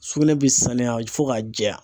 Sugunɛ bɛ sanuya fo k'a jɛya.